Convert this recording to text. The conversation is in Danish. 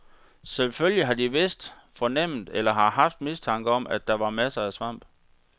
Selvfølgelig har de vidst, fornemmet eller har haft mistanke om, at der var masser af svamp.